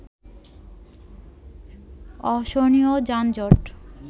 অসহনীয় যানজট